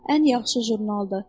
Ən yaxşı jurnaldır.